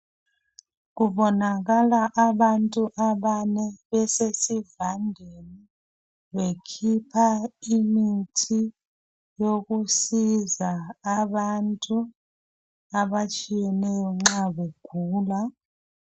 kubonakala abantu abane besesivandeni bekhipha imithi yokusiza abantu abatshiyeneyo nxa kugulwa